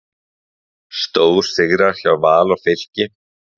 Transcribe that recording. Stórsigrar hjá Val og Fylki